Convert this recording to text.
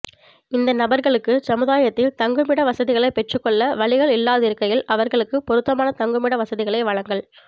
இந்த நபர்களுக்குச் சமுதாயத்தில் தங்குமிட வசதிகளைப் பெற்றுக்கொள்ள வழிகள் இல்லாதிருக்கையில் அவர்களுக்குப் பொருத்தமான தங்குமிட வசதிகளை வழங்கல்